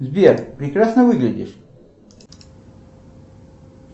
сбер прекрасно выглядишь